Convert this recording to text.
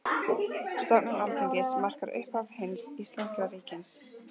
Stofnun Alþingis markar upphaf hins íslenska ríkis.